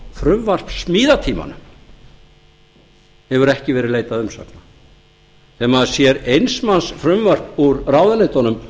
að á frumvarpssmíðatímanum hefur ekki verið leitað umsagna þegar maður sér eins manns frumvarp úr ráðuneytunum